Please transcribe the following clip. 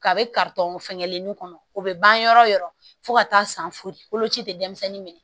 Ka be karitɔn fɛngɛlenw kɔnɔ o be ban yɔrɔ wo yɔrɔ fo ka taa san fori boloci te denmisɛnnin minɛ